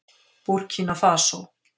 Búrkína Fasó